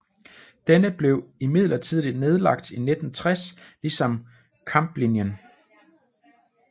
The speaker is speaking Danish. Denne blev imidlertid nedlagt i 1960 ligesom Kampenlinjen